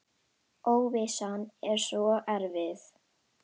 Óvissan er svo erfið.